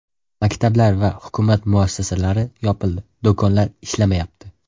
Maktablar va hukumat muassasalari yopildi, do‘konlar ishlamayapti.